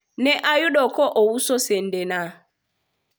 ne ayude ka ouso sende na